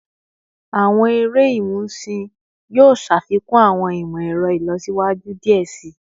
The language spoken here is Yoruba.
Awọn ere imusin yoo ṣafikun awọn imọ-ẹrọ ilọsiwaju diẹ sii